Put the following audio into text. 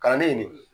Kalanden nin